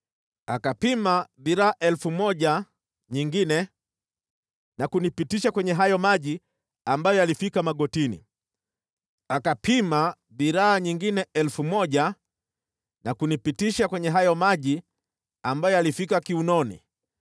Akapima dhiraa 1,000 nyingine na kunipitisha kwenye hayo maji ambayo yalifika magotini. Akapima dhiraa nyingine 1,000 na kunipitisha kwenye hayo maji ambayo yalifika kiunoni.